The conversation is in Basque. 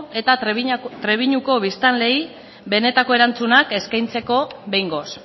eta trebiñuko biztanleei benetako erantzunak eskaintzeko behingoz